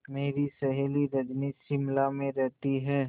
मेरी सहेली रजनी शिमला में रहती है